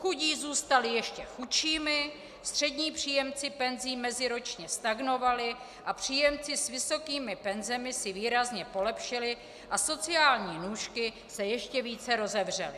Chudí zůstali ještě chudšími, střední příjemci penzí meziročně stagnovali a příjemci s vysokými penzemi si výrazně polepšili a sociální nůžky se ještě více rozevřely.